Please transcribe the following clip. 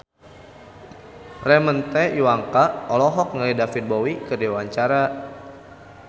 Ramon T. Yungka olohok ningali David Bowie keur diwawancara